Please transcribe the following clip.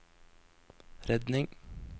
redning